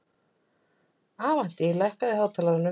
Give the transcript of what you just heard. Avantí, lækkaðu í hátalaranum.